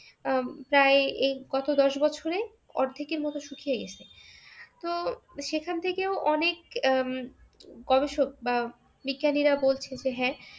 আহ প্রায় এই গত দশ বছরে অর্ধেকের মত শুকিয়ে গেছে। তো সেখান থেকেও অনেক আহ গবেষক বা বিজ্ঞানীরা বলছে যে হ্যাঁ